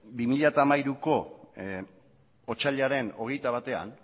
bi mila hamairuko otsailaren hogeita batean